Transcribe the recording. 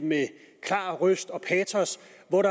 med klar røst og patos